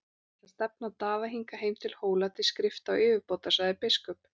Ég ætla að stefna Daða hingað heim til Hóla til skrifta og yfirbótar, sagði biskup.